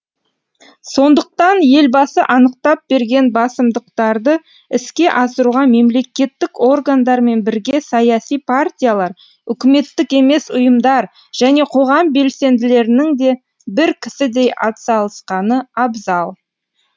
сондықтан елбасы анықтап берген басымдықтарды іске асыруға мемлекеттік органдармен бірге саяси партиялар үкіметтік емес ұйымдар және қоғам белсенділерінің де бір кісідей атсалысқаны абзал